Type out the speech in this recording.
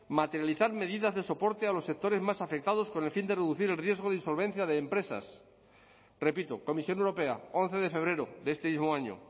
materializar medidas de soporte a los sectores más afectados con el fin de reducir el riesgo de insolvencia de empresas repito comisión europea once de febrero de este mismo año